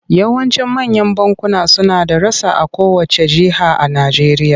Yawancin manyan bankuna suna da rassa a kowacce jiha a Najeriya.